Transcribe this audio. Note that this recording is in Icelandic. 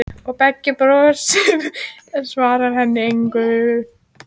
Og Beggi brosir, en svarar henni engu.